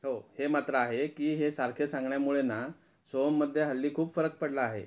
हो हे मात्र आहे की हे सारखे सांगण्यामुळे ना सोहममध्ये हल्ली खूप फरक पडला आहे.